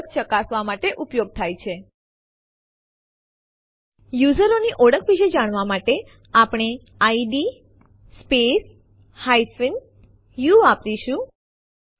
આ ફાઈલને આપણે ટેસ્ટ2 ના નામે રીન્યુ કરવા ઈચ્છીએ છીએ આપણે લખીશું એમવી i અનિર્બાણ ટેસ્ટ2 અને Enter ડબાઓ